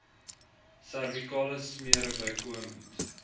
servikale smere bykomend